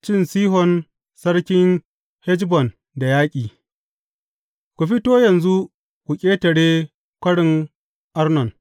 Cin Sihon sarkin Heshbon da yaƙi Ku fito yanzu ku ƙetare Kwarin Arnon.